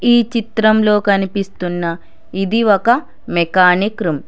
ఈ చిత్రంలో కనిపిస్తున్న ఇది ఒక మెకానిక్ రూమ్ .